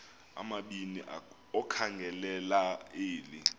amabini okhangelela eli